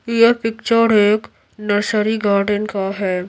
यह पिक्चर एक nursery garden का है।